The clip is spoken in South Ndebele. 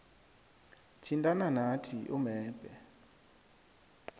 thintana nathi umebhe